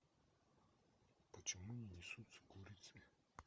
почему не несутся курицы